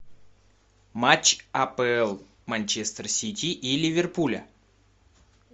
матч апл манчестер сити и ливерпуля